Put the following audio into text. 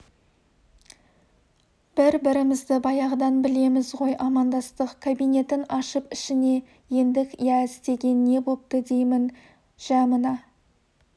бір-бірімізді баяғыдан білеміз ғой амандастық кабинетін ашып ішіне ендік иә істеген не бопты деймін жә мына